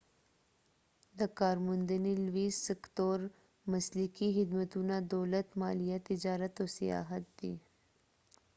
د کارموندنې لوی سکتور مسلکي خدمتونه دولت مالیه تجارت او سیاحت دي